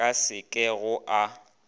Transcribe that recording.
ka se ke go a